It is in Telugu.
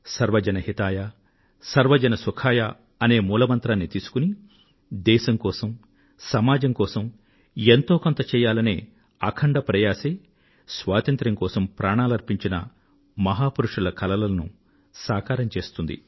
సర్వజన హితాయ సర్వ జన సుఖాయ అనే మూల మంత్రాన్ని తీసుకుని దేశం కోసం సమాజం కోసం ఎంతో కొంత చెయ్యాలనే అఖండ ప్రయాసే స్వాతంత్ర్యం కోసం ప్రాణాలర్పించిన మహా పురుషుల కలలను సాకారం చేస్తుంది